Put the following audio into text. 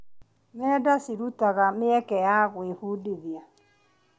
Nenda cirutaga mĩeke ya gwĩbundithia.